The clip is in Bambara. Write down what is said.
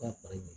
Ka bara